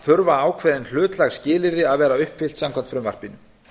þurfa ákveðin hlutlæg skilyrði að vera uppfyllt samkvæmt frumvarpinu